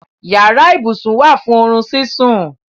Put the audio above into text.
Yàrá-íbusùn wá fún orún síṣún.